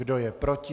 Kdo je proti?